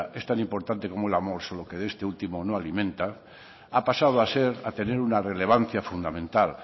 es tan importante como el amor solo que este último no alimenta ha pasado a tener una relevancia fundamental